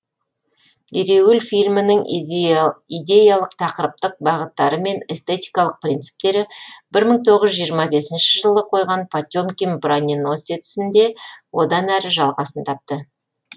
ереуіл фильмінің идеялық тақырыптық бағыттары мен эстетикалық принциптері бір мың тоғыз жүз жиырма бесінші жылы қойған потемкин броненосецінде одан әрі жалғасын тапты